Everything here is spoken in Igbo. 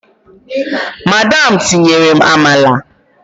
Madam tinyerem amala!